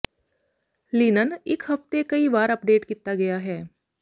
linen ਇੱਕ ਹਫ਼ਤੇ ਕਈ ਵਾਰ ਅੱਪਡੇਟ ਕੀਤਾ ਗਿਆ ਹੈ